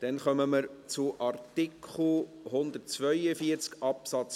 Wir kommen zu Artikel 142b Absatz